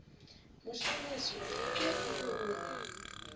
moshaneso ha ke re o